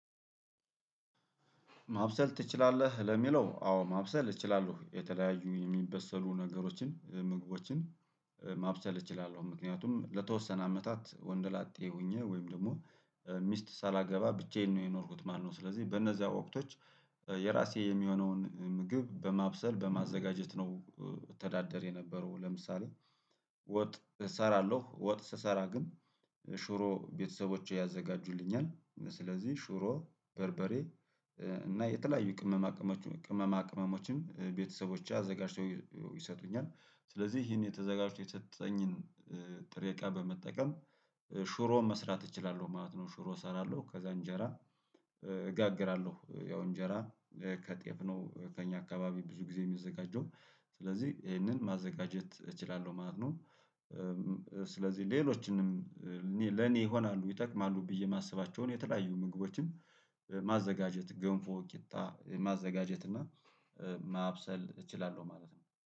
ማብሰል ትችላለህ ለሚለው አዎ ማብሰል እችላለሁ የተለያዩ የሚበሰሉ ነገሮችን ምግቦችን ማብሰል እችላለሁ ምክንያቱም ለተወሰነ አመታት ወንድ ላጤ ሆኜ ወይም ደግሞ ሚስት ሳላገባ ብቻዬን ነው የኖርኩት ማለት ነው። ስለዚህ በነዛ ወቅቶች የራሴ የሚሆነውን ምግብ በማብሰል በማዘጋጀት ነው። እተዳደር የነበረው ለምሳሌ ወጥ እሰራለሁ ወጥ ስሰራ ግን ሽሮ ቤተሰቦቼ ያዘጋጁልኛል ስለዚህ ሽሮ በርበሬ እና የተለያዩ ቅመማ ቅመሞችን ቅመማ ቅመሞችን ቤተሰቦቼ አዘጋጅተው ይሰጡኛል ስለዚህ ይሄን ተዘጋጅቶ የተሰጠኝን ጥሬ እቃ በመጠቀም ሽሮ መስራት እችላለሁ ማለት ነው። ሽሮ እሰራለሁ ከዛ እንጀራ እጋግራለሁ ያው እንጀራ ከጤፍ ነው ከእኛ አካባቢ ብዙ ጊዜ የሚዘጋጀው ስለዚህ ይሄንን ማዘጋጀት እችላለሁ ማለት ነው። ስለዚህ ሌሎችንም ለኔ ይሆናሉ ይጠቅማሉ ብዬ የማስባቸውን የተለያዩ ምግቦችን ማዘጋጀት ገንፎ ቂጣ ማዘጋጀት እና ማብሰል እችላለሁ ማለት ነው